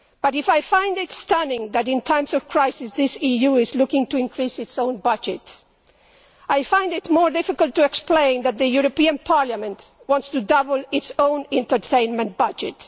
If I find it stunning that in times of crisis, this EU is looking to increase its own budget, I find it more difficult to explain that the European Parliament wants to double its own entertainment budget.